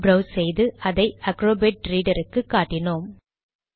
browse செய்து இதை Acrobat ரீடருக்கு காட்டினோம்